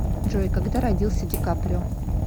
джой когда родился ди каприо